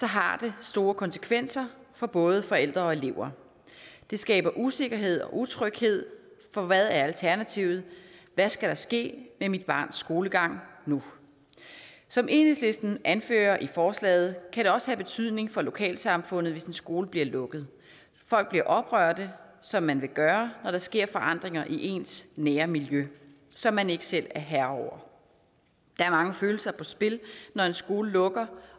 har det store konsekvenser for både forældre og elever det skaber usikkerhed og utryghed for hvad er alternativet hvad skal der ske med mit barns skolegang nu som enhedslisten anfører i forslaget kan det også have betydning for lokalsamfundet hvis en skole bliver lukket folk bliver oprørte som man vil gøre når der sker forandringer i ens nære miljø som man ikke selv er herre over der er mange følelser på spil når en skole lukker